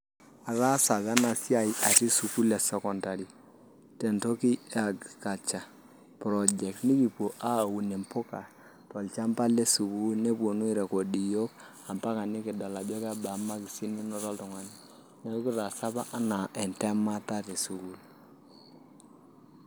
Ataasa apa ena siai atii sukuul e secondary tentoki e agriculture project nikipuo aaun mpuka tolchamba le sukuul neponunui airecord iyiook pee eyiolouni marks naanoto oltung'ani tesukul neeku kitaasa apa enaa entemata tesukul.